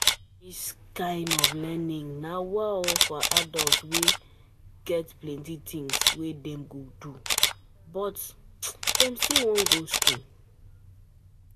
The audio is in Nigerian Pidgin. This um kind of learning na um for adult wey um get plenty things wey dem dey do but do but still wan go school